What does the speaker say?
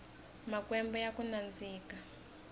makwembe yakunandzika